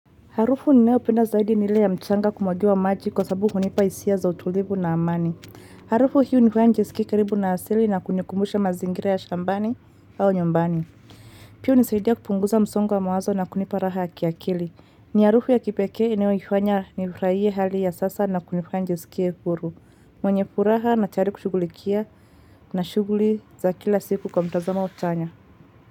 Harufu ninayopenda zaidi ni ile ya mchanga kumwagiwa maji kwa sababu hunipa hisia za utulivu na amani. Harufu hiyo hunifanya nijiskie karibu na asili na kunikumbusha mazingira ya shambani au nyumbani. Pia hunisaidia kupunguza msongo wa mawazo na kunipa raha ya kiakili. Ni harufu ya kipekee inayoifanya nifurahie hali ya sasa na kunifanya nijiskie huru. Mwenye furaha na tayari kushughulikia na shughuli za kila siku kwa mtazama au tanya.